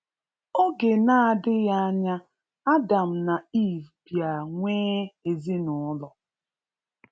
Oge na adighi anya, Adam na Eve bia nwee ezinụlọ